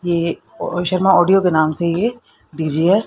ये शर्मा ऑडियो के नाम से ये डी_जे --